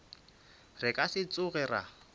re ka se tsoge ra